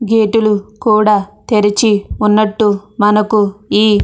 గేట్లు కూడా తెరిచే ఉన్నట్టు మనకు ఈ --